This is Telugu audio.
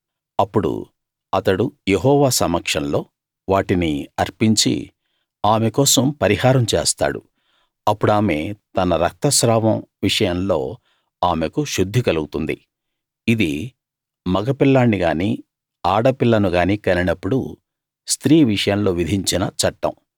అప్పుడు అతడు యెహోవా సమక్షంలో వాటిని అర్పించి ఆమె కోసం పరిహారం చేస్తాడు అప్పుడామె తన రక్తస్రావం విషయంలో ఆమెకు శుద్ధి కలుగుతుంది ఇది మగపిల్లాణ్ణి గానీ ఆడ పిల్లను గానీ కనినప్పుడు స్త్రీ విషయంలో విధించిన చట్టం